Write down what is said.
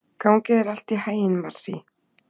Gangi þér allt í haginn, Marsý.